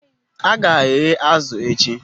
A ga-eghe azụ̀ echi